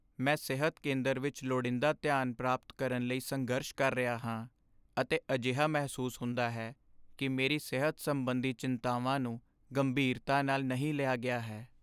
ਮੈਂ ਸਿਹਤ ਕੇਂਦਰ ਵਿੱਚ ਲੋੜੀਂਦਾ ਧਿਆਨ ਪ੍ਰਾਪਤ ਕਰਨ ਲਈ ਸੰਘਰਸ਼ ਕਰ ਰਿਹਾ ਹਾਂ, ਅਤੇ ਅਜਿਹਾ ਮਹਿਸੂਸ ਹੁੰਦਾ ਹੈ ਕਿ ਮੇਰੀ ਸਿਹਤ ਸੰਬੰਧੀ ਚਿੰਤਾਵਾਂ ਨੂੰ ਗੰਭੀਰਤਾ ਨਾਲ ਨਹੀਂ ਲਿਆ ਗਿਆ ਹੈ।